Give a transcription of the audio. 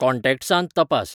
कॉन्टॅक्ट्सांत तपास